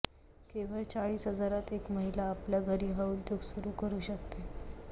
केवळ चाळीस हजारात एक महिला आपल्या घरी हा उद्योग सुरू करू शकते